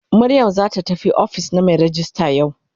Mariam zata tafi ofis na mai rejista yau.